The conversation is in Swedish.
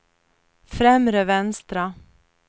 främre vänstra